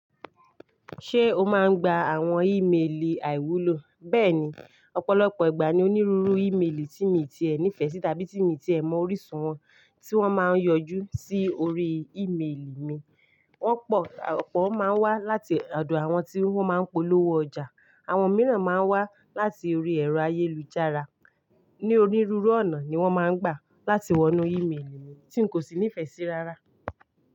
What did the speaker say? Ṣé o máa ń gba àwọn ìmelì àìwúlò? Bẹ́ẹ̀ni, ọ̀pọ̀lọpọ̀ ìgbà ni onírúurú ìmelì tí mi ti ẹ nífẹ̀ẹ́ sí tàbí tí mi ti ẹ mọ orísun wọn tí wọ́n máa ń yọjú sí orí ìmelì mi. Wọ́n pọ̀, ọ̀pọ̀ máa ń wá láti ọ̀dọ̀ àwọn tí wọ́n máa ń polówó ọjà, àwọn mìíràn máa ń wá láti orí ẹ̀rọ ayélujára. Ni onírúurú ọ̀nà ni wọ́n máa ń gbà láti wọnú ìmelì mi tí n kò sì nífẹ̀ẹ́ sí rárá.